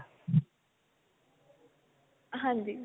ਹਾਂਜੀ